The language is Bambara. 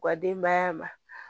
U ka denbaya ma